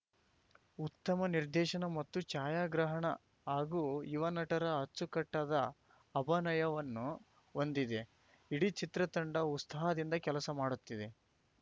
ಉತ್ತಮ ನಿರ್ದೇಶನ ಮತ್ತು ಛಾಯಾಗ್ರಹಣ ಹಾಗೂ ಯುವ ನಟರ ಅಚ್ಚುಕಟ್ಟಾದ ಅಭನಯವನ್ನು ಹೊಂದಿದೆ ಇಡೀ ಚಿತ್ರತಂಡ ಉಸ್ತಾಹದಿಂದ ಕೆಲಸ ಮಾಡುತ್ತಿದೆ